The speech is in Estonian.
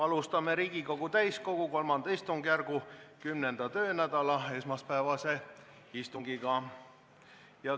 Alustame Riigikogu täiskogu III istungjärgu 10. töönädala esmaspäevast istungit.